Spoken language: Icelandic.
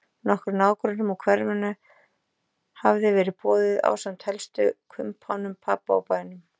Nokkrum nágrönnum úr hverfinu hafði verið boðið ásamt helstu kumpánum pabba úr bænum.